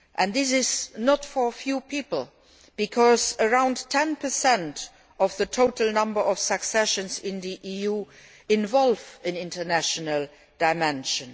This is not just for a few people, because around 10 of the total number of successions in the EU involve an international dimension.